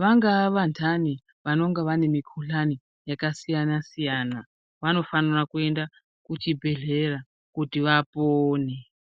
vangaa vanhani vanonga vane mukhuhlani yakasiyana-siyana vanofanira kuenda kuzvibhehlera kuti vapone.